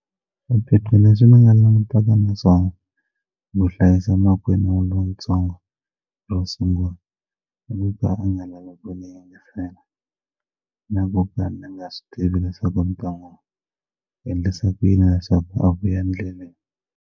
Swiphiqo leswi ni nga langutaka na swona no hlayisa makwenu lontsongo ro sungula i ku ka a nga lavi ku ni yingisela na ku ka ni nga swi tivi leswaku ni ta n'wu endlisa ku yini leswaku a vuya ndleleni.